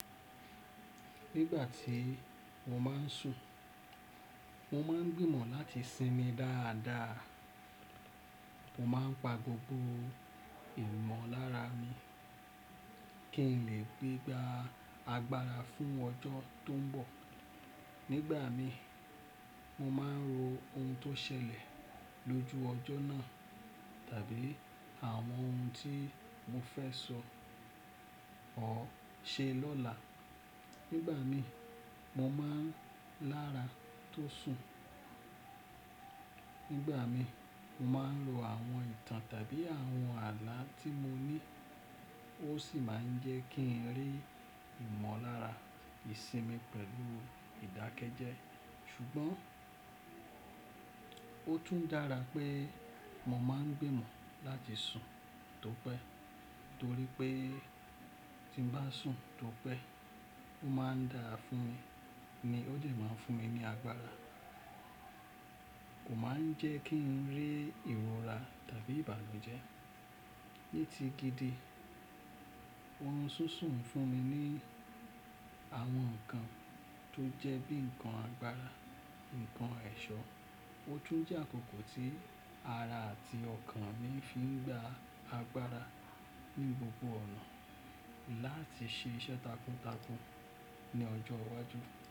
Nígbà tí mo máa n sùn, mo máa n gbìmọ̀ láti sinmi dáadáa. Mo máa n pa gbogbo ìmọ̀lára mi kí n lè gbegba agbára fún ọjọ́ tó ń bọ̀. Nígbà mí, mo má n ro ohun tó ṣẹlẹ̀ lójú ọjọ́ náà tàbí àwọn ohun tí mo fẹ́ sọ or ṣe lọ́la. Nígbà mí, mo máa n lára tó ń sùn. Nígbà mí, mo máa n ro àwọn ìtàn tàbí àwọn àlá tí mo ní ó sì má ń jẹ́ kí n rí ìmọ̀lára ìsinmi pẹ̀lú ìdákẹ́jẹ́. Ṣùgbọ́n, ó tún dára pé mo má n gbìmọ̀ láti sùn tó pẹ́ torí pé tí n bá sùn tó pẹ́, ó má ń dára fún mi ni ó dẹ má ń fún mi ní agbára. Kò maá ń jẹ́ kí n rí ìwọ́ra tàbí ìbànújẹ́. Ní ti gidi, orun ṣisun ń fún mi ní àwọn ǹkan tó jẹ́ bí ǹkan agbára, ǹkan ẹ̀ṣọ́. Ó tún jẹ́ àkókò tí ara àti ọkàn mi fi ń gba agbára ní gbogbo ọ̀nà láti ṣe iṣẹ́ takuntakun ní ọjọ́ iwájú.